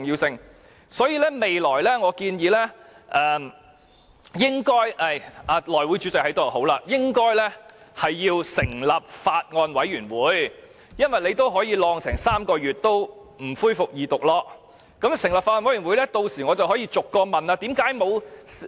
所以，我建議未來應該——內務委員會主席在席真好——要成立法案委員會，因為既然當局可以擱置《條例草案》3個月不恢復二讀，若成立法案委員會，我便可以逐項提問。